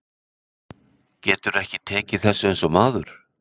Geturðu ekki tekið þessu eins og maður?